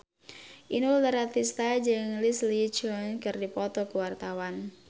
Inul Daratista jeung Leslie Cheung keur dipoto ku wartawan